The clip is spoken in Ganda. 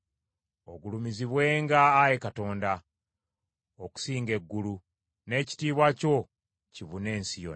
Ogulumizibwenga, Ayi Katonda, okusinga eggulu; n’ekitiibwa kyo kibune ensi yonna.